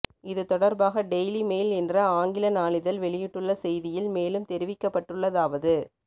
இது தொடர்பாக Daily Mail என்ற ஆங்கில நாளிதழ் வெயிட்டுள்ள செய்தியில் மேலும் தெரிவிக்கப்பட்டுள்ளதாவது